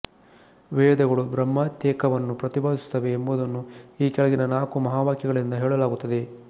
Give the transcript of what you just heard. ವೇದಗಳು ಬ್ರಹ್ಮಾತ್ಮೈಕ್ಯವನ್ನು ಪ್ರತಿಪಾದಿಸುತ್ತವೆ ಎಂಬುದನ್ನು ಈ ಕೆಳಗಿನ ನಾಲ್ಕು ಮಹಾವಾಕ್ಯಗಳಿಂದ ಹೇಳಲಾಗುತ್ತದೆ